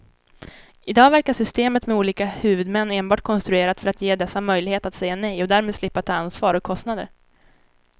I dag verkar systemet med olika huvudmän enbart konstruerat för att ge dessa möjlighet att säga nej och därmed slippa ta ansvar och kostnader.